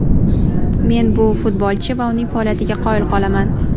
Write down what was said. Men bu futbolchi va uning faoliyatiga qoyil qolaman.